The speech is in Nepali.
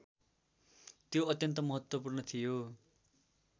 त्यो अत्यन्त महत्त्वपूर्ण थियो